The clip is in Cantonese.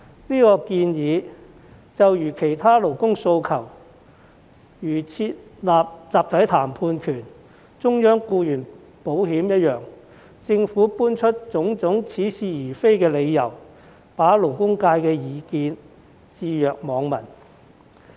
這項建議就如設立集體談判權和中央僱員保險等其他勞工訴求一樣，政府搬出種種似是而非的理由，對勞工界的意見置若罔聞。